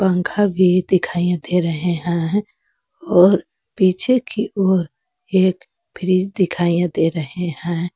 पंखा भी दिखाइए दे रहे हैं और पीछे की ओर एक फ्रिज दिखाइए दे रहे हैं।